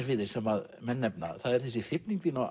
við þig sem menn nefna það er þessi hrifning þín á